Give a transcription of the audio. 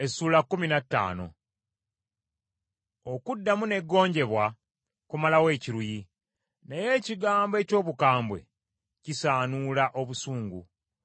Okuddamu n’eggonjebwa kumalawo ekiruyi, naye ekigambo eky’obukambwe kisaanuula obusungu.